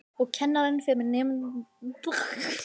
Og kennarinn fer með nemendur í listasöfn borgarinnar.